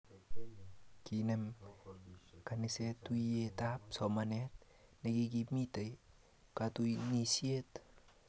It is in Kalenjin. Kinem kaniset tuyet ab somanet nekikimiti katunisiet